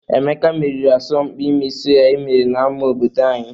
Emeka meriri n'asọmpi ịmị sụya e mere n'ama obodo anyị..